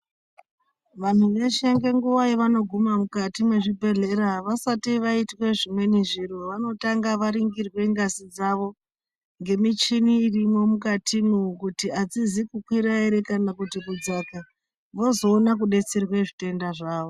Vantu veshe ngenguwa yevanoguma mukati mwezvibhehlera vasati vaitwe zvimweni zviro vanotanga varingirwe ngazi dzavo ngemichini irimwo mukatimwo kuti adzizi kukwira ere kana kuti kudzaka vozona kudetserwa zvitenda zvavo.